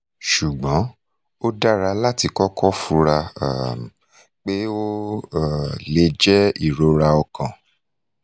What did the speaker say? ṣugbọn o dara lati kọkọ fura um pe o um le jẹ irora ọkan